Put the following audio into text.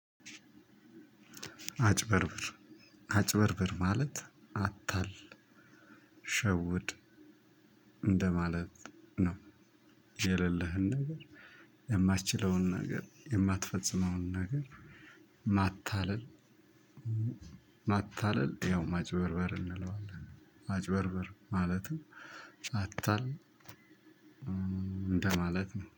አጭበርብር አጭበርብር ማለት አታል ሸውድ እንደማለት ነው የሌለህን ነገር የማትችለውን ነገር የማትፈጽመውን ነገር። ማታለል ማታለል ያው ማጭበርበር እንለዋለን ማጭበርበር ማለትም አታል እንደማለት ነው